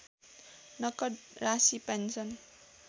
नकद राशि पेन्सन